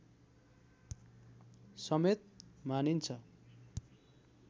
समेत मानिन्छ